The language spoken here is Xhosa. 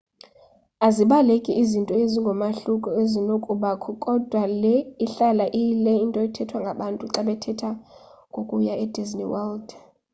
azibaleki izinto ezingumahloko ezinokubakho kodwa le ihlala iyile nto ithethwa ngabantu xa bethetha ngokuya e-disney world